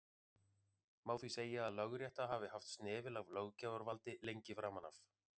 má því segja að lögrétta hafi haft snefil af löggjafarvaldi lengi framan af